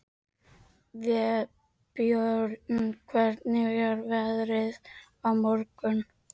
Vébjörn, hvernig er veðrið á morgun?